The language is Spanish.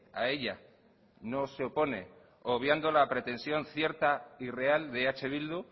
a ella no se opone obviando la pretensión cierta y real de eh bildu